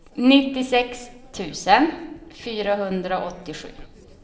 nittiosex tusen fyrahundraåttiosju